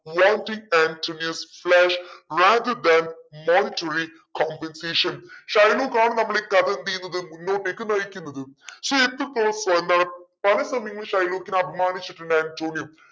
rather than monetary competition Shylock ആണ് നമ്മളീ കഥ എന്തെയ്യുന്നത് മുന്നോട്ടേക്ക് നയിക്കുന്നത്. പല സമയങ്ങളിലും ഷൈലോക്കിനെ അപമാനിച്ചിട്ടുണ്ട് അന്റോണിയോ